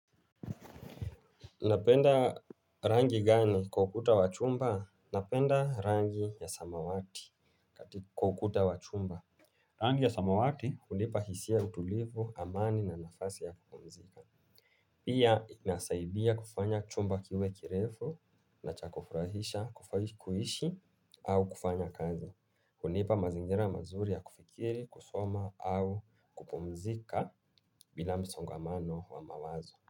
Napenda rangi gani kwa ukuta wachumba? Napenda rangi ya samawati katika kwa ukuta wachumba. Rangi ya samawati unipa hisia ya utulivu, amani na nafasi ya kupumzika. Pia inasaidia kufanya chumba kiwe kirefu na cha kufurahisha kuishi au kufanya kazi. Unipa mazingira mazuri ya kufikiri, kusoma au kupumzika bila msongamano wa mawazo.